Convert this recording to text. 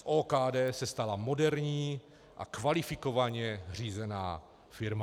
Z OKD se stala moderní a kvalifikovaně řízená firma.